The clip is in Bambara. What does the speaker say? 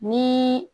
Ni